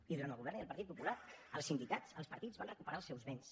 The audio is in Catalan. i durant el govern ja del partit popular el sindicats els partits van recuperar els seus béns